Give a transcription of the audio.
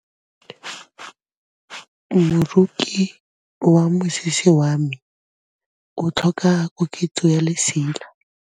Moroki wa mosese wa me o tlhoka koketsô ya lesela.